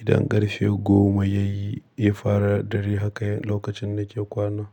idan ƙarfe goma yayi, ya fara dare haka lokacin da ke kwana.